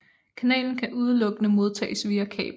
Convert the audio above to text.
Kanalen kan udelukkende modtages via kabel